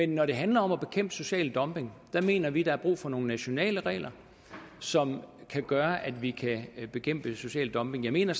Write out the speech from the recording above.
når det handler om at bekæmpe social dumping mener vi der er brug for nogle nationale regler som kan gøre at vi kan bekæmpe social dumping jeg mener